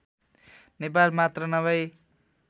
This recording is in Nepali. नेपाल मात्र नभई